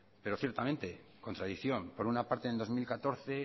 pero ciertamente contradicción por una parte en el dos mil catorce